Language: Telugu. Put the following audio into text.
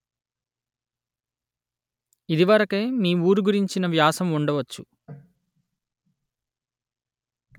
ఇది వరకే మీ ఊరు గురించిన వ్యాసం ఉండవచ్చు